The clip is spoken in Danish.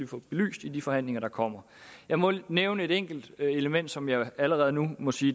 få belyst i de forhandlinger der kommer jeg må nævne et enkelt element som jeg allerede nu må sige